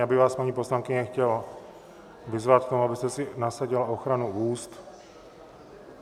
Já bych vás, paní poslankyně, chtěl vyzvat k tomu, abyste si nasadila ochranu úst.